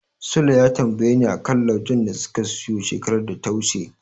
Sule ya tambayeni a kan laujen da suka siyo shekarar da ta wuce.